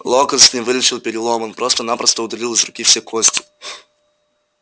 локонс не вылечил перелом он просто-напросто удалил из руки все кости